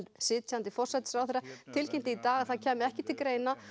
sitjandi forsætisráðherra tilkynnti í dag að það kæmi ekki til greina